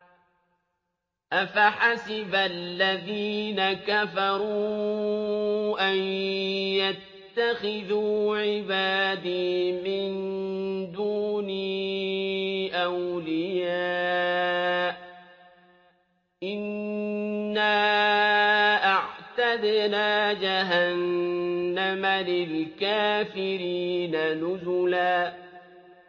أَفَحَسِبَ الَّذِينَ كَفَرُوا أَن يَتَّخِذُوا عِبَادِي مِن دُونِي أَوْلِيَاءَ ۚ إِنَّا أَعْتَدْنَا جَهَنَّمَ لِلْكَافِرِينَ نُزُلًا